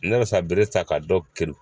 Ne bɛ sa bere ta ka dɔw keru.